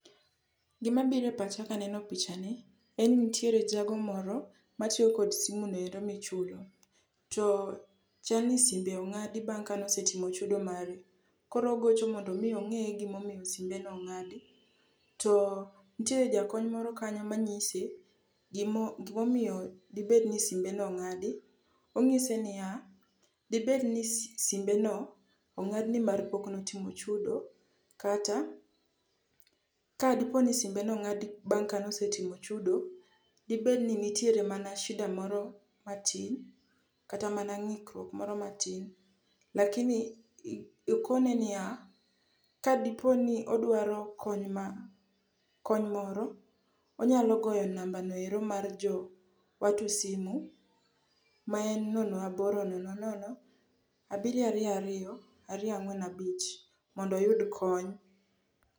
Gimabiro e pacha kaneno pichani en ni nitiere jago moro matiyo kod simuno ero michulo. To chal ni simbe ong'adi bang' kane osetimo chudo mare. Koro ogocho mondo omi ong'e gimomiyo simbeno ong'adi to nitiere jakony moro kanyo manyise gimomiyo dibed ni simbeno ong'adi. Ong'ise niya, debed ni simbeno ong'ad nimar pok notimo chudo kata kadiponi simbeno ong'adi bang' kane osetimo chudo, dibed ni nitiere mana shida moro matin kata mana ng'ikruok moro matin lakini okone niya, kadipo ni odwaro kony moro, onyalo goyo nambano ero mar jo watu simu ma en nono aboro nono nono, abiriyo ariyo ariyo, ariyo ang'wen abich mondo oyud kony.